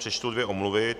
Přečtu dvě omluvy.